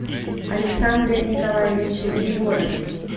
александре николаевиче егорове